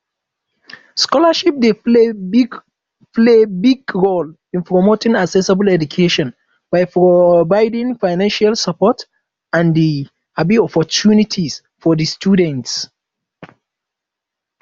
scholarship dey play big play big role in promoting accessible education by providing financial support and di um opportunities for di students